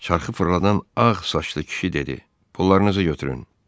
Çarxı fırladan ağ saçlı kişi dedi: "Pularınızı götürün!"